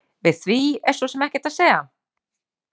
Við því er svo sem ekkert að segja.